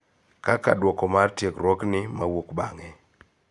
Kaka duoko mar tiegruogni mauok bang'e .